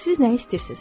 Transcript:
Siz nəyi istəyirsiz?